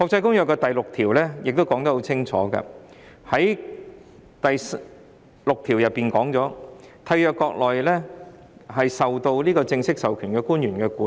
《公約》第六條亦清楚說明，這些集裝箱應在締約國領土內受該締約國正式授權的官員管理。